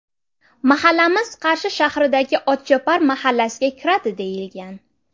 Mahallamiz Qarshi shahridagi ‘Otchopar’ mahallasiga kiradi deyilgan.